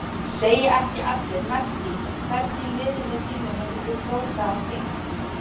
Segja ekki allir Messi Hvern í liðinu þínu myndir þú kjósa á þing?